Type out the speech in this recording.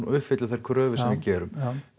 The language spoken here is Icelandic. uppfylli þær kröfur sem við gerum